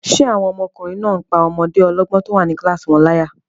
Ṣé àwọn ọmọkùnrin náà n pá ọmọdé ọlọ́gbọ́n tó wà ní kílásì wọn láyà?